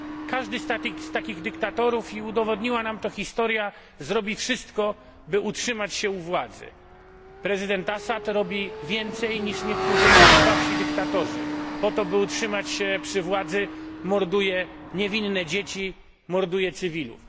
Każdy z takich dyktatorów i udowodniła nam to historia zrobi wszystko, by utrzymać się u władzy. Prezydent Assad robi więcej niż niektórzy najkrwawsi dyktatorzy po to, by utrzymać się u władzy, morduje niewinne dzieci, morduje cywilów.